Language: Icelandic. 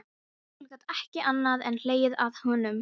Emil gat ekki annað en hlegið að honum.